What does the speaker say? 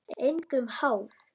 Engum háð.